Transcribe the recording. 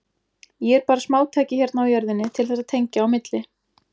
Ég er bara smátæki hérna á jörðinni til þess að tengja á milli.